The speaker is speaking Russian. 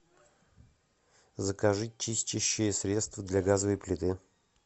закажи чистящее средство для газовой плиты